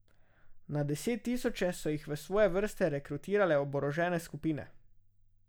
Na deset tisoče so jih v svoje vrste rekrutirale oborožene skupine.